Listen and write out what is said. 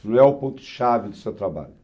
Não é o ponto-chave do seu trabalho.